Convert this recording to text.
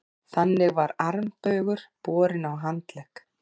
Þannig var armbaugur borinn á handlegg.